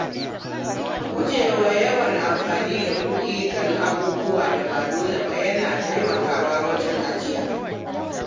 Gujewa yawan amfani da kuɗi kan abubuwan da ba dole ba yana taimakawa wajen ajiya.